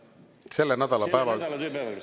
Selle nädala päevakorrast?